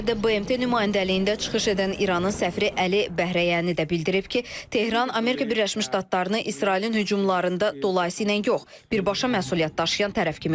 Cenevrədə BMT nümayəndəliyində çıxış edən İranın səfiri Əli Bəhrəyani də bildirib ki, Tehran Amerika Birləşmiş Ştatlarını İsrailin hücumlarında dolayıyla yox, birbaşa məsuliyyət daşıyan tərəf kimi görür.